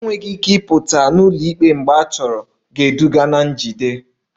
Enweghị ike ịpụta n'ụlọikpe mgbe achọrọ ga-eduga na njide